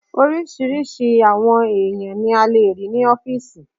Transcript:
Oríṣiríṣi àwọn èèyàn ní a lè rí ní ọ́fìsì